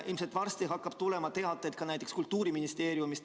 Ilmselt hakkab varsti tulema teateid ka näiteks Kultuuriministeeriumist.